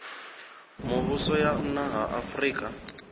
mivhuso ya nna ha afurika